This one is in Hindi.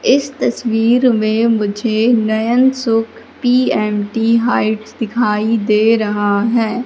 इस तस्वीर में मुझे नयन सुख पी_एम_टी हाइट दिखाई दे रहा है।